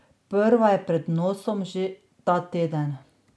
Prva je pred nosom že ta teden.